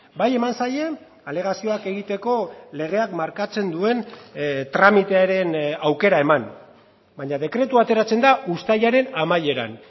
bai eman zaie alegazioak egiteko legeak markatzen duen tramitearen aukera eman baina dekretua ateratzen da uztailaren amaieran